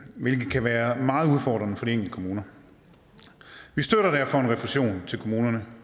hvilket kan være meget udfordrende for de kommuner vi støtter derfor en refusion til kommunerne